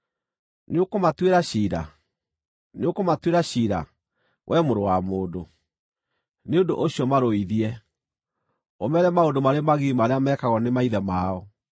“Nĩũkũmatuĩra ciira? Nĩũkũmatuĩra ciira, wee mũrũ wa mũndũ? Nĩ ũndũ ũcio marũithie, ũmeere maũndũ marĩ magigi marĩa meekagwo nĩ maithe mao,